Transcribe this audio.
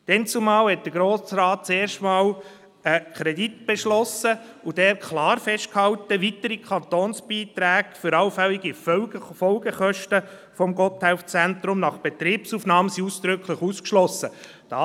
Damals hat der Grosse Rat zum ersten Mal einen Kredit beschlossen und dort klar festgehalten, dass weitere Kantonsbeiträge für allfällige Folgekosten des Gotthelf-Zentrums nach Betriebsaufnahme ausdrücklich ausgeschlossen sind.